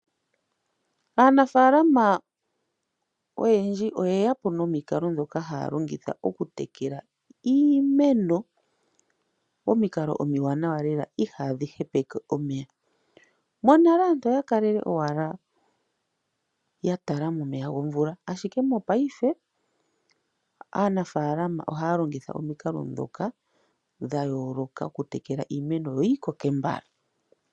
Aanafaalamo oyendji oye yapo nomikali odhindji ndhoka ha ya longitha oku tekela iimeno, omikalo omiwanawa lela Ihaa dhi hepeke omeya. Monale aantu oya kalele owala ya tala momeya gomvula; ashike mopaife, aanafaalama oha ya longitha omikalo ndhoka dha yooloka oku tekela iimeno yo yi koke mbala.